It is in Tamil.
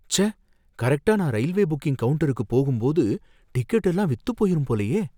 ச்சே! கரெக்ட்டா நா ரயில்வே புக்கிங் கவுண்டருக்கு போகும்போது டிக்கெட் எல்லாம் வித்து போயிரும் போலயே